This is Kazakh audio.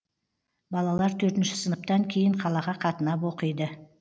балалар төртінші сыныптан кейін қалаға қатынап оқиды